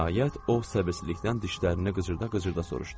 Nəhayət o səbirsizlikdən dişlərini qıcırdada-qıcırdada soruşdu.